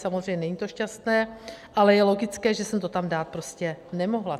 Samozřejmě to není šťastné, ale je logické, že jsem to tam dát prostě nemohla.